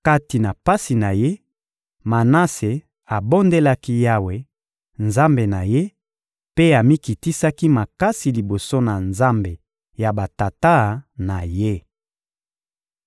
Kati na pasi na ye, Manase abondelaki Yawe, Nzambe na ye, mpe amikitisaki makasi liboso ya Nzambe ya batata na ye.